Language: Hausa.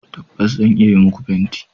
Tabbas, zan iya yi muku fenti